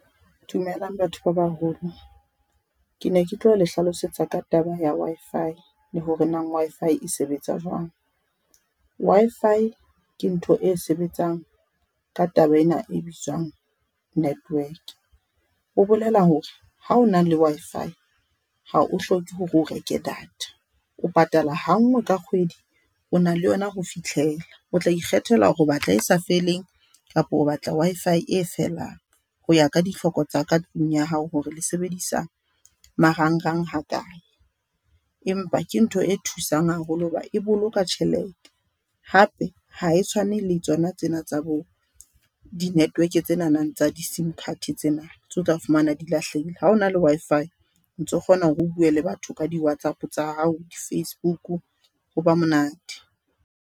Dumelang batho ba baholo. Ke ne ke tlo le hlalosetsa ka taba ya Wi-Fi le hore na Wi-Fi e sebetsa jwang. Wi-Fi ke ntho e sebetsang ka taba ena e bitswang network ho bolela hore ha o na le Wi-Fi ha o hloke hore o reke data. O patala ha nngwe ka kgwedi o na le yona ho fihlela, o tla ikgethela hore o batla e sa feleng kapa o batla Wi-Fi e felang, hoya ka ditlhoko tsa katlung ya hao hore le sebedisa marangrang hakae. Empa ke ntho e thusang haholo hoba e boloka tjhelete, hape ha e tshwane le tsona tsena tsa bo, di-network tsena tsa di-sim card tsena tse o tla fumana di lahlehile ha hona le Wi-Fi o ntso kgona hore o bue le batho ka di-WhatsApp tsa hao di-Facebook ho ba monate.